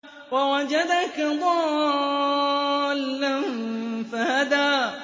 وَوَجَدَكَ ضَالًّا فَهَدَىٰ